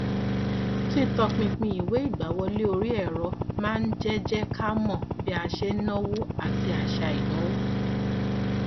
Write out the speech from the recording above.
títọpinpin ìwé ìgbàwọlé orí ẹrọ máa ń jẹ jẹ ká mọ bí a ṣe ń náwó àti àṣà ìnáwó